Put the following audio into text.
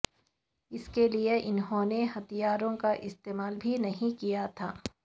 اس کے لئے انہوں نے ہتھیاروں کا استعمال بھی نہیں کیا تھا